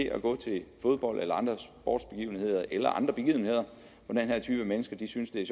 at gå til fodbold eller andre sportsbegivenheder eller andre begivenheder hvor den her type mennesker synes det er